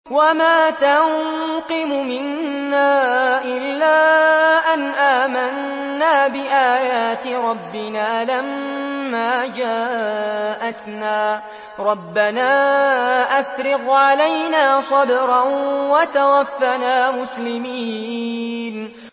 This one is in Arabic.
وَمَا تَنقِمُ مِنَّا إِلَّا أَنْ آمَنَّا بِآيَاتِ رَبِّنَا لَمَّا جَاءَتْنَا ۚ رَبَّنَا أَفْرِغْ عَلَيْنَا صَبْرًا وَتَوَفَّنَا مُسْلِمِينَ